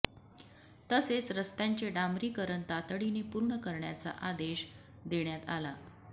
तसेच रस्त्यांचे डांबरीकरण तातडीने पूर्ण करण्याचा आदेश देण्यात आला